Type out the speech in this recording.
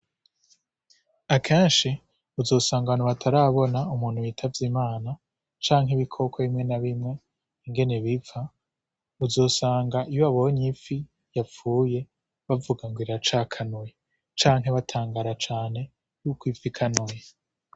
Akenshi uzosanga abantu batarabona umuntu witavye imana canke ibikoke bimwe na bimwe ingene bipfa uzosanga iyo abonye ifi yapfuye bavuga ngo rra cakanwe canke batangara cane yuko ipfa i kanwe.